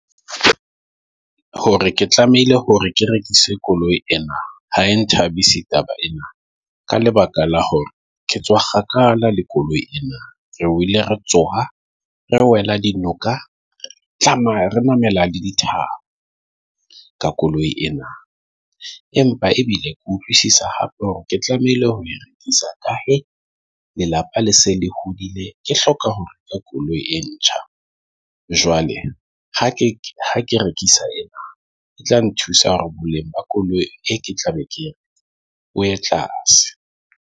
Hore ke tlamehile hore ke rekise koloi ena, ha e nthabise taba ena ka lebaka la hore ke tswa kgakala le koloi ena. Re wile re tsoha re wela dinoka. A tlameha re namela le dithaba ka koloi ena. Empa ebile ke utlwisisa hape hore ke tlamehile ho e rekisa, ka hee lelapa le se le hodile. Ke hloka hore koloi e ntjha. Jwale ha ha ke rekisa ena e tla nthusa hore boleng ba koloi e ke tlabe ke o a tlase.